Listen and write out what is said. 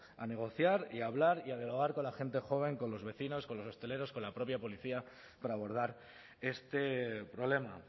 a negociar y a hablar y a dialogar con la gente joven con los vecinos con los hosteleros con la propia policía para abordar este problema